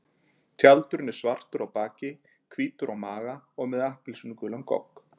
Tjaldurinn er svartur á baki, hvítur á maga og með appelsínugulan gogg.